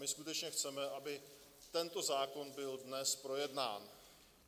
My skutečně chceme, aby tento zákon byl dnes projednán.